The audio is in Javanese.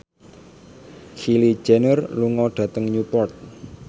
Kylie Jenner lunga dhateng Newport